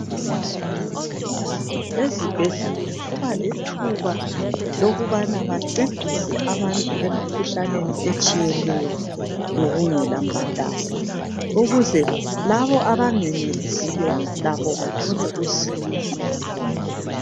Ezibhedlela kuba lethuba lokubana bancedisa abantu emkhuhlaneni etshiyeneyo ngokungela mbhadalo. Ukuze labo abangayenelesiyo bathole usizo.